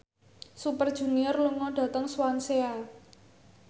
Super Junior lunga dhateng Swansea